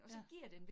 Ja